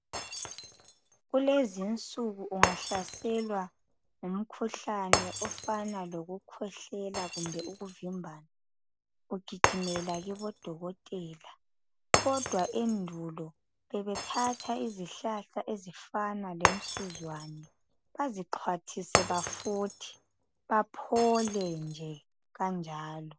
Kulezinsiku ungahlaselwa ngumkhuhlane ofana lokukhwehlela kumbe ukuvimbana, ugijimela kibodokotela. Kodwa endulo bebethatha izihlahla ezifana lemsuzwane bazixhwathise bafuthe baphole nje kanjalo.